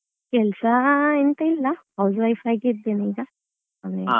ಕೆಲ್ಸಾ ಎಂತ ಇಲ್ಲ housewife ಆಗಿದ್ದೇನೆ ಈಗ ಮನೆಯಲ್ಲಿ.